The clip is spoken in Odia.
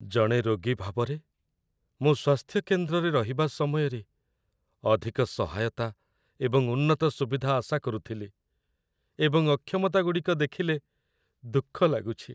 ଜଣେ ରୋଗୀ ଭାବରେ, ମୁଁ ସ୍ୱାସ୍ଥ୍ୟ କେନ୍ଦ୍ରରେ ରହିବା ସମୟରେ ଅଧିକ ସହାୟତା ଏବଂ ଉନ୍ନତ ସୁବିଧା ଆଶା କରୁଥିଲି, ଏବଂ ଅକ୍ଷମତାଗୁଡ଼ିକ ଦେଖିଲେ ଦୁଃଖ ଲାଗୁଛି।